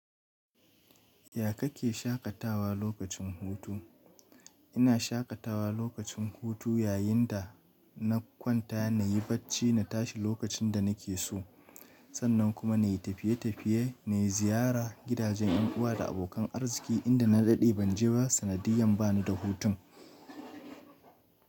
Ya kake shaƙatawa lokacin hutu? Ina shaƙatawa lokacin hutu yayinda na kwanta, na yi bacci, na tashi lokacin da na ke so, sannan kuma na yi tafiye-tafiye, na yi ziyara gidajen yan uwa da abokan arziki inda na daɗe ban ji sanadiyan ba ni da hutun.